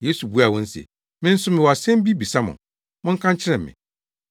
Yesu buaa wɔn se, “Me nso mewɔ asɛm bi bisa mo. Monka nkyerɛ me.